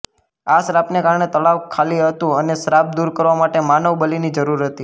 આ શ્રાપને કારણે તળાવ ખાલી હતું અને શ્રાપ દૂર કરવા માટે માનવ બલિની જરૂર હતી